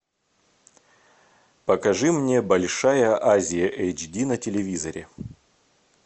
покажи мне большая азия эйч ди на телевизоре